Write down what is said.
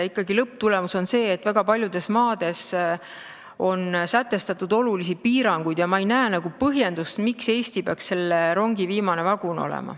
Ikkagi on lõpptulemus see, et väga paljudes maades on sätestatud olulisi piiranguid, ja ma ei näe põhjendust, miks Eesti peaks selle rongi viimane vagun olema.